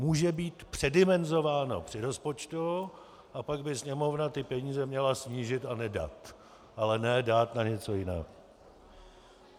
Může být předimenzováno při rozpočtu, a pak by Sněmovna ty peníze měla snížit a nedat, ale ne dát na něco jiného.